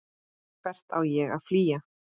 Hvert á ég að flýja?